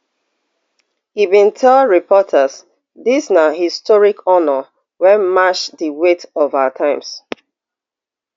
e bin tell reporters dis na historic honour wey match di weight of our times